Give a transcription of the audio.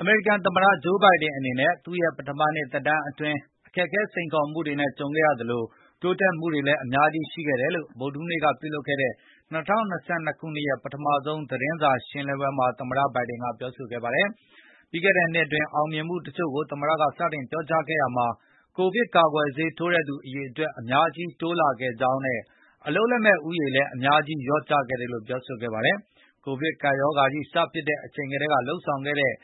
အမေရိကန်သမတ Joe Biden အနေနဲ့သူ့ရဲ့ ပထမနှစ်သမတသက်တမ်းအတွင်း အခက်အခဲ စိန်ခေါ်မှုတွေနဲ့ကြုံခဲ့ရသလို တိုးတက်မှုတွေလည်းအများကြီးရှိခဲ့တယ်လို့ ဗုဒ္ဓဟူးနေ့ကပြုလုပ်ခဲ့တဲ့ ၂၀၂၂ ခုနှစ်ရဲ့ပထမဆုံးသတင်းစာရှင်းလင်းပွဲမှာ သမတ ဘိုင်ဒင်ကပြောဆိုခဲ့ပါတယ်။ ပြီးခဲ့တဲ့နှစ်အတွင်းအောင်မြင်မှုတချို့ကိုသမတက စတင်ပြောကြားခဲ့ရာမှာ၊ ကိုဗစ်ကာကွယ်ဆေးထိုးတဲ့သူ အရေအတွက်အများကြီးတိုးလာခဲ့ကြောင်းနဲ့၊ အလုပ်လက်မဲ့ဦးရေ လည်းအများကြီးလျော့ကျခဲ့တယ်လို့ပြောဆိုခဲ့ပါတယ်။ ကိုဗစ်ကပ်ရောဂါကြီးစဖြစ်တဲ့အချိန်ကတည်းက လုပ်ဆောင်ခဲ့သင့်